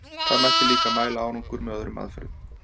Það mætti líka mæla árangur með öðrum aðferðum.